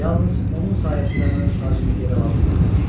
Yalnız onun sayəsində mən öz tacımı geri ala bildim.